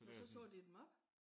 Nå så sagde de dem op?